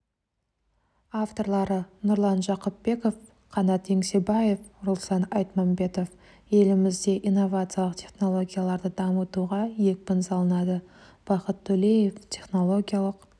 авторлары нұрлан жақыпбеков қанат еңсебаев руслан айтмамбетов елімізде инновациялық технологияларды дамытуға екпін салынады бақыт төлеев технологиялық